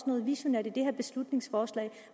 noget visionært i det her beslutningsforslag